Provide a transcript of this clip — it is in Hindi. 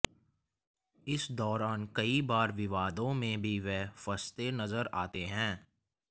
इस दौरान कई बार विवादों में भी वे फंसते नजर आते हैं